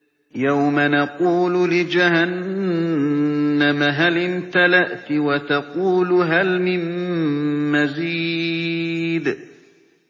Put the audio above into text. يَوْمَ نَقُولُ لِجَهَنَّمَ هَلِ امْتَلَأْتِ وَتَقُولُ هَلْ مِن مَّزِيدٍ